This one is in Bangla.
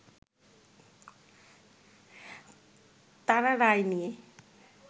তারা রায় নিয়ে